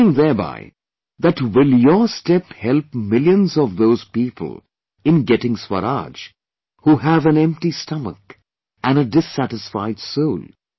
Meaning thereby that will your step help millions of those people in getting Swaraj who have an empty stomach and a dissatisfied soul